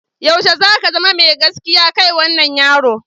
Yaushe za ka zama mai gaskiya kai wannan yaro?